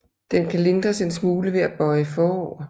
Den kan lindres en smule ved at bøje forover